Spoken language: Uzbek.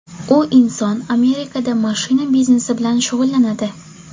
U inson Amerikada mashina biznesi bilan shug‘ullanadi.